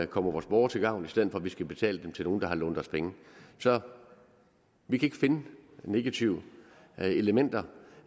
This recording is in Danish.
kommer vores borgere til gavn i stedet for at vi skal betale dem til nogle der har lånt os penge så vi kan ikke finde negative elementer